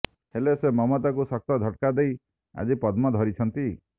ହେଲେ ସେ ମମତାଙ୍କୁ ଶକ୍ତ ଝଟକା ଦେଇ ଆଜି ପଦ୍ମ ଧରିଛନ୍ତି